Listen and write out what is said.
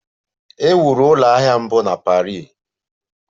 E wuru ụlọ ahịa mbụ na Paris.